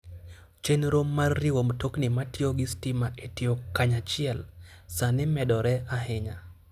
Chenro mar riwo mtokni matiyo gi stima e tiyo kanyachiel, sani medore ahinya.